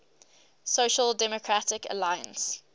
social democratic alliance